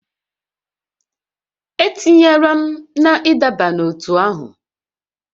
E tinyela m na ịdọba n'ótú ahụ!